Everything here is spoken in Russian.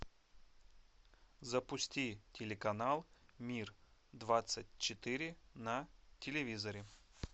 запусти телеканал мир двадцать четыре на телевизоре